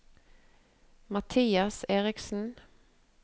Mathias Eriksen